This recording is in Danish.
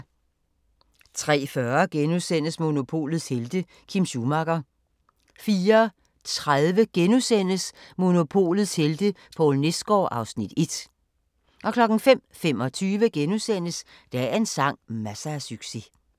03:40: Monopolets helte - Kim Schumacher * 04:30: Monopolets helte - Poul Nesgaard (Afs. 1)* 05:25: Dagens sang: Masser af succes *